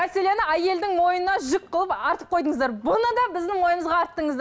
мәселені әйелдің мойнына жүк қылып артып қойдыңыздар бұны да біздің мойнымызға арттыңыздар